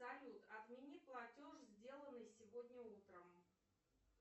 салют отмени платеж сделанный сегодня утром